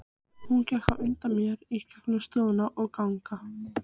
Hún gekk á undan mér í gegnum stofur og ganga.